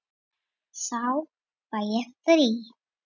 Þá fæ ég frí.